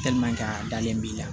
a dalen b'i la